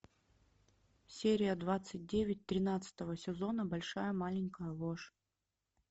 серия двадцать девять тринадцатого сезона большая маленькая ложь